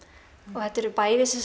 og þetta eru bæði